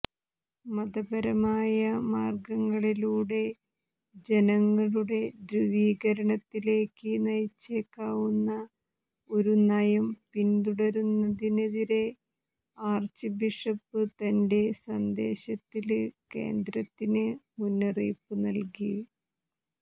മതപരമായ മാര്ഗങ്ങളിലൂടെ ജനങ്ങളുടെ ധ്രുവീകരണത്തിലേക്ക് നയിച്ചേക്കാവുന്ന ഒരു നയം പിന്തുടരുന്നതിനെതിരെ ആര്ച്ച് ബിഷപ്പ് തന്റെ സന്ദേശത്തില് കേന്ദ്രത്തിന് മുന്നറിയിപ്പ് നല്കി